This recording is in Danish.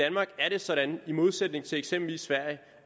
er sådan i i modsætning til eksempelvis sverige